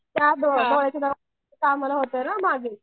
त्या बघ कामाला होत्या ना मागे.